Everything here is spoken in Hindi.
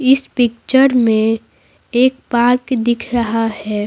इस पिक्चर में एक पार्क दिख रहा है।